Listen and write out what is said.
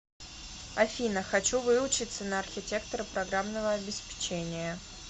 афина хочу выучиться на архитектора программного обеспечения